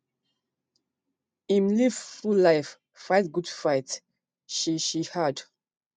im live full life fight good fight she she add